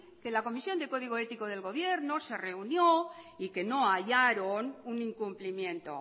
que la comisión de código ético del gobierno se reunió y que no hallaron un incumplimiento